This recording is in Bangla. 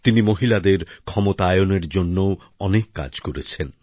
তিনি মহিলাদের ক্ষমতায়নের জন্যও অনেক কাজ করেছেন